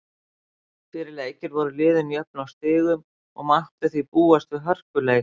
Fyrir leikinn voru liðin jöfn á stigum og mátti því búast við hörkuleik.